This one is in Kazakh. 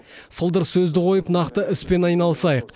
сылдыр сөзді қойып нақты іспен айналысайық